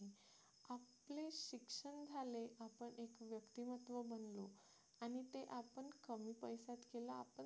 केला आपण